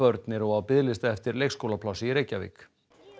börn eru á biðlista eftir leikskólaplássi í Reykjavík